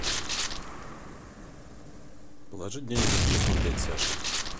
положить денег на телефон дяде саше